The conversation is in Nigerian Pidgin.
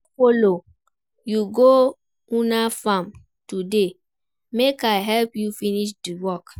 I go folo you go una farm today make I help you finish di work.